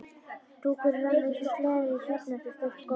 Dúkurinn rann eins og sleði á hjarni yfir steypt gólfið.